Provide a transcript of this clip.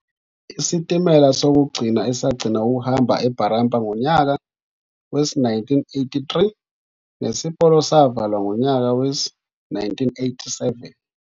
Isitimela sokugcina esagcina ukuhamba eBarraba ngonyaka we-1983 nesipolo savalwa ngonyaka we-1987.